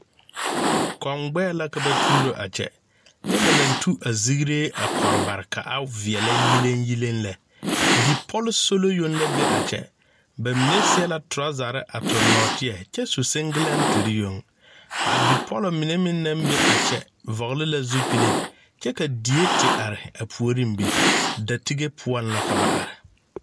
Kɔŋgbɛɛ la ka ba tuuro a kyɛ nyɛ ba naŋ tu azigree a kɔre bare ka a veɛlɛ yileŋyiliŋ lɛ bipɔlsolo yoŋ la be a kyɛ bamine seɛ la tɔrɔzɛre a tuŋ nɔɔteɛ kyɛ su siŋgilɛŋtere yoŋ a bipɔlɔ mine meŋ naŋ be a kyɛ vɔgle la zupile kyɛ ka die te are a puoriŋ be datige poɔŋ la ka ba are.